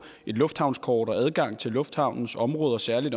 et lufthavnskort og få adgang til lufthavnens område særlig